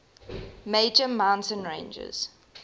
major mountain ranges